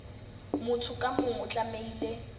motho ka mong o tlamehile